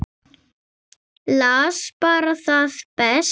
Las bara það besta.